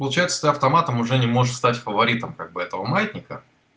получается ты автоматом уже не можешь стать фаворитом как бы этого маятника